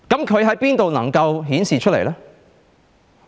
它可在哪裏顯示出來呢？